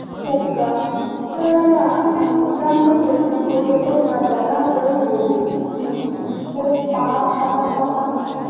ó ga tẹ́rẹ́lá um dàńgọ́tẹ́ tún gorí olókàdá làgọ́-ìwòye um ò pa á pátápátá